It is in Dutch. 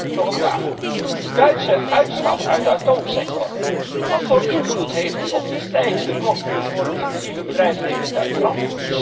Ten tweede, nog een vraag de Duitse uitstap uit de atoomsector wat voor invloed heeft die op de stijgende kosten voor het energie intensieve bedrijfsleven in Duitsland?